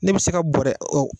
Ne bɛ se ka bɔrɛ o